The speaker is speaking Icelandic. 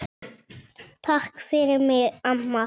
Takk fyrir mig, amma.